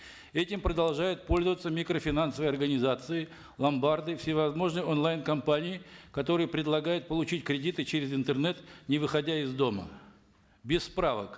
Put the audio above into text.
этим продолжают пользоваться микрофинансовые организации ломбарды всевозможные онлайн компании которые предлагают получить кредиты через интернет не выходя из дома без справок